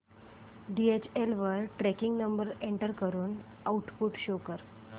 DHL वर tracking number enter करून output show कर